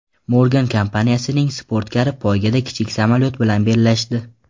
Morgan kompaniyasining sportkari poygada kichik samolyot bilan bellashdi .